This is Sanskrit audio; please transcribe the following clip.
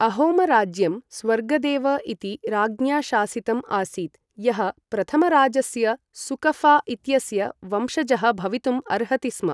अहोम राज्यं स्वर्गदेव इति राज्ञा शासितम् आसीत्, यः प्रथमराजस्य सुकफा इत्यस्य वंशजः भवितुम् अर्हति स्म।